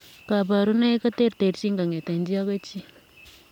Kabarunoik koterterchin kongetee chii agoi chii .